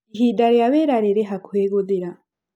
Ihinda rĩa wĩra rĩrĩ hakuhĩ gũthira.